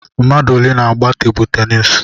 Mmadụ ole na-àgbá tebụ ténisi?